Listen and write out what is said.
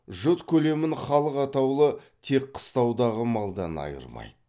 жұт көлемін халық атаулы тек қыстаудағы малдан айырмайды